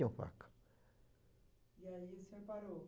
a faca. E aí o senhor parou?